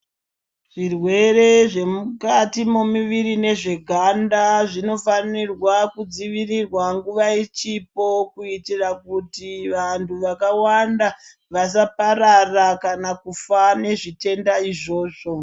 Zvirwere zvemukati mwemiri nezveganda zvinofanirwa kudzivirirwa nguva ichipo kuitira kuti vanhu vakawanda vasaparara kana kufa nezvitenda izvozvo.